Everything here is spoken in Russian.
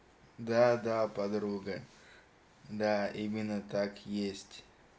да да подруга да именно так есть